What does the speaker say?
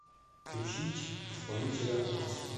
включить исполнителя хаски